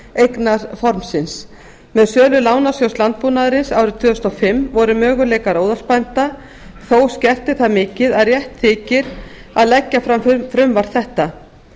með sölu lánasjóðs landbúnaðarins árið tvö þúsund og fimm voru möguleikar óðalsbænda þó skertir það mikið að rétt þykir að leggja fram frumvarp þetta